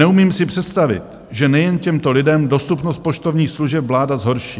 "Neumím si představit, že nejen těmto lidem dostupnost poštovních služeb vláda zhorší.